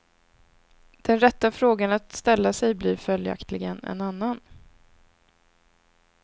Den rätta frågan att ställa sig blir följaktligen en annan.